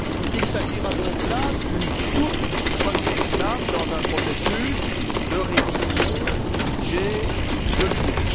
Il s'agira donc d'une toute première étape dans un processus de révision du budget de l'Union